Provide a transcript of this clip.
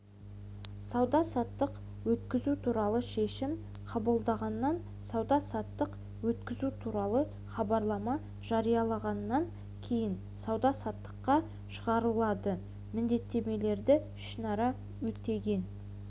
сауда-саттық өткізу туралы шешім қабылданғаннан сауда-саттық өткізу туралы хабарлама жарияланғаннан кейін сауда-саттыққа шығарылады міндеттемелерді ішінара өтеген